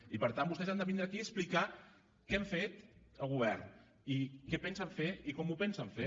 i per tant vostès han de vindre aquí a explicar què ha fet el govern i què pensen fer i com ho pensen fer